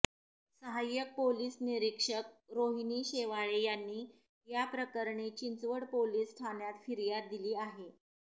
सहाय्यक पोलीस निरीक्षक रोहिणी शेवाळे यांनी याप्रकरणी चिंचवड पोलीस ठाण्यात फिर्याद दिली आहे